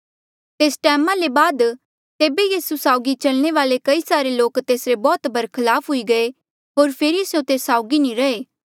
तेस टैमा ले बाद तेबे यीसू साउगी चलने वाले कई सारे लोक तेसरे बौह्त बरखलाफ हुई गये होर फेरी स्यों तेस साउगी नी रहे